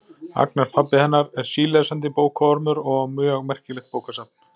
Agnar pabbi hennar er sílesandi bókaormur og á mjög merkilegt bókasafn.